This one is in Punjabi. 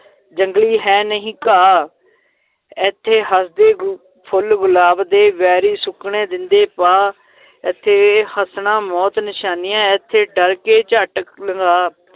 ਜੰਗਲੀ ਹੈ ਨਹੀਂ ਘਾਹ ਏਥੇ ਹਸਦੇ ਗੁ~ ਫੁੱਲ ਗੁਲਾਬ ਦੇ ਵੈਰੀ ਸੁੱਕਣੇ ਦੇਂਦੇ ਪਾ ਏਥੇ ਹੱਸਣਾ ਮੌਤ ਨਿਸ਼ਾਨੀਆਂ, ਏਥੇ ਡਰ ਕੇ ਝੱਟ ਲੰਘਾ,